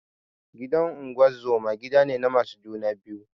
Gidan unguzuma gidane na masu juna biyu